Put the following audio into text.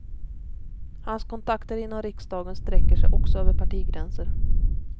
Hans kontakter inom riksdagen sträcker sig också över partigränser.